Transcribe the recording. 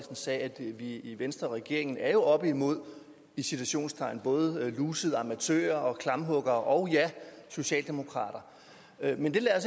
sagde at vi i i venstre og regeringen er oppe imod i citationstegn både lusede amatører og klamphuggere og ja socialdemokrater men det lader